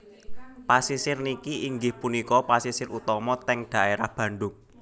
Pasisir niki inggih punika pasisir utama teng daerah Bandung